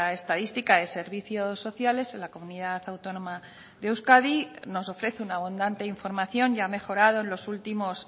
estadística de servicios sociales en la comunidad autónoma de euskadi nos ofrece una abundante información ya mejorado en los últimos